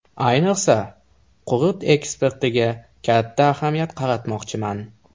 Ayniqsa, qurut eksportiga katta ahamiyat qaratmoqchiman.